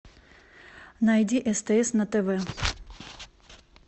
найди стс на тв